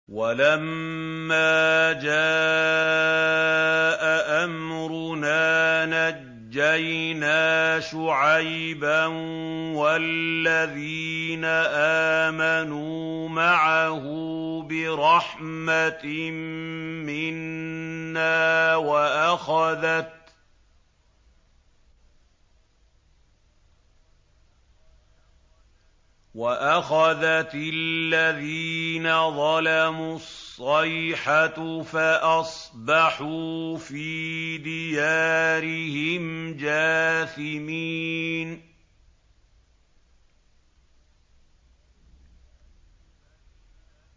وَلَمَّا جَاءَ أَمْرُنَا نَجَّيْنَا شُعَيْبًا وَالَّذِينَ آمَنُوا مَعَهُ بِرَحْمَةٍ مِّنَّا وَأَخَذَتِ الَّذِينَ ظَلَمُوا الصَّيْحَةُ فَأَصْبَحُوا فِي دِيَارِهِمْ جَاثِمِينَ